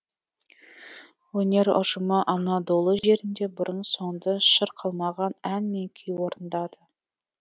өнер ұжымы анадолы жерінде бұрын соңды шырқалмаған ән мен күй орындады